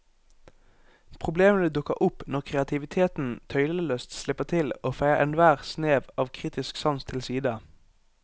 Problemene dukker opp når kreativiteten tøylesløst slipper til og feier enhver snev av kritisk sans til side.